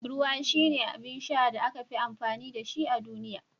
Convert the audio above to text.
Ruwa shine abin sha da aka fi amfani da shi a duniya